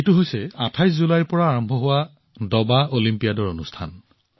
এয়া হল ২৮ জুলাইৰ পৰা আৰম্ভ হবলগীয়া দবা অলিম্পিয়াডৰ অনুষ্ঠান